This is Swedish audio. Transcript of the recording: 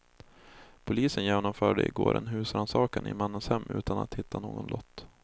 Polisen genomförde i går en husrannsakan i mannens hem utan att hitta någon lott.